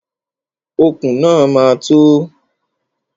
Okùn náà ma tó.